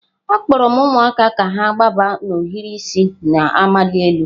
Akpọrọ m ụmụaka ka ha gbaba n'ohiri isi na-amali elu.